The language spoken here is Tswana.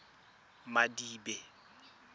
madibe